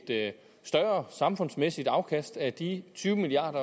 større samfundsmæssigt afkast af de tyve milliard